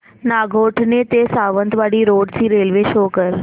नागोठणे ते सावंतवाडी रोड ची railway show कर